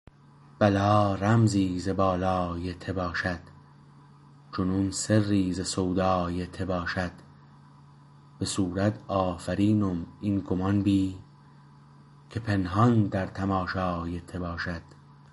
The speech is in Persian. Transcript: بلا رمزی ز بالای ته باشد جنون سری ز سودای ته باشد به صورت آفرینم این گمان بی که پنهان در تماشای ته باشد